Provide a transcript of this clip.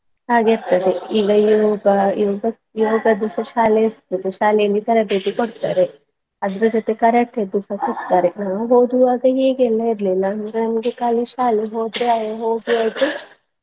ಹಾಗಿರ್ತದೆ ಈಗ ಯೋಗ ಯೋಗ ಯೋಗದ್ದು ಶಾಲೆ ಇರ್ತದೆ ಶಾಲೆಯಲ್ಲಿ ತರಬೇತಿ ಕೊಡ್ತಾರೆ ಅದ್ರ ಜೋತೆ Karate ದ್ದುಸ ಕೊಟ್ತಾರೆ ನಾವು ಓದುವಾಗ ಹೀಗೆ ಎಲ್ಲಾ ಇರ್ರ್ಲಿಲ್ಲಾ ಅಂದ್ರೆ ನಮ್ಗೆ ಕಾಲಿ ಶಾಲೆ ಹೋ~ ಹೋದ್ರೆ ಹೋಗಿಯಾಯ್ತು .